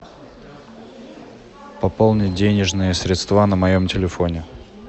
пополнить денежные средства на моем телефоне